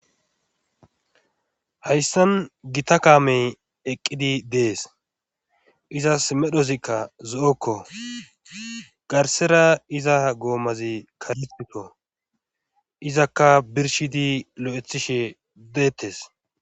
hayssan gita kaamey eqqidi dees izas medhozikka zo7okko garsera iza goomazi kareito izakka birshidi lo7ethishe deettes